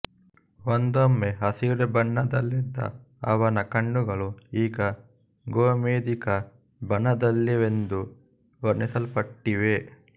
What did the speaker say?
ಒಂದೊಮ್ಮೆ ಹಸಿರು ಬಣ್ಣದಲ್ಲಿದ್ದ ಅವನ ಕಣ್ಣುಗಳು ಈಗ ಗೋಮೇಧಿಕ ಬಣ್ಣದಲ್ಲಿವೆಯೆಂದು ವರ್ಣಿಸಲ್ಪಟ್ಟಿವೆ